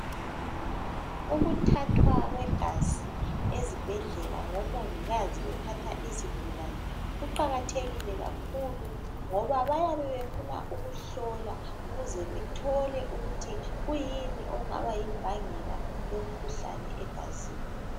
Ukuthathwa kwegazi ezibhedlela ngomongikazi bethatha izigulane kuqakathekile kakhulu ngoba bayabe befuna ukuhlola ukuze bethole ukuthi kuyini okungaba yimbangela yomkhuhlane egazini